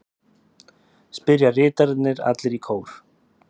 spyrja ritararnir allir í kór.